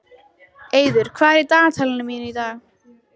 Eiður, hvað er í dagatalinu mínu í dag?